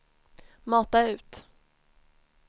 mata ut